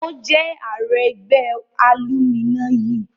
Ó jẹ́ ààrẹ ẹgbẹ́ alúminayi